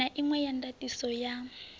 na inwe ya ndatiso ya